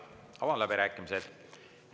Avan läbirääkimised.